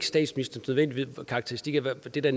statsministerens karakteristik af det det